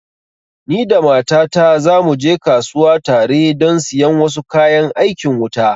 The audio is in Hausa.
Ni da mata ta za mu je kasuwa tare don siyan wasu kayan aikin wuta